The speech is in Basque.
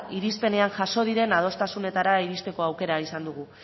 irispenean jaso diren adostasunetara iristeko aukera izan dugu